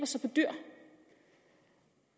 sig på dyr